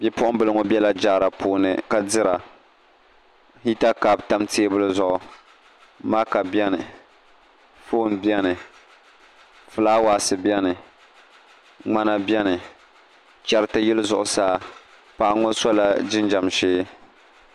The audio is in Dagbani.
Bipuɣunbili ŋo bɛla jaara puuni ka dira hita kaap tam teebuli zuɣu maaka biɛni foon biɛni fulaawaasi biɛno ŋmana biɛni chɛriti yili zuɣu saa paɣa ŋo sola jinjɛm ʒiɛ